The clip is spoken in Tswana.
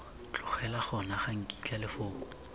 tlogela gona ga nkitla lefoko